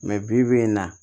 bi bi in na